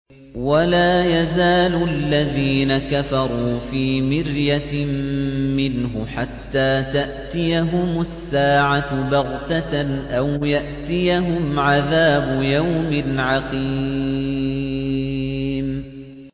وَلَا يَزَالُ الَّذِينَ كَفَرُوا فِي مِرْيَةٍ مِّنْهُ حَتَّىٰ تَأْتِيَهُمُ السَّاعَةُ بَغْتَةً أَوْ يَأْتِيَهُمْ عَذَابُ يَوْمٍ عَقِيمٍ